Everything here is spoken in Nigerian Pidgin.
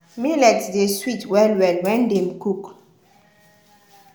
millet dey sweet well-well when dem cook.